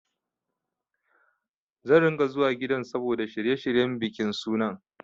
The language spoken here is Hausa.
Zan ringa zuwa gidan saboda shirye-shiryen bikin sunan.